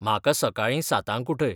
म्हाका सकाळीं सातांक उठय